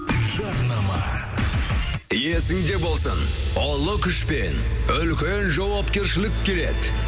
жарнама есіңде болсын ұлы күшпен үлкен жауапкершілік келеді